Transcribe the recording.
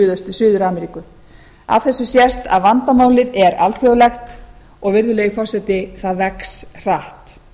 suður ameríku af þessu sést að vandamálið er alþjóðlegt og virðulegi forseti það vex hratt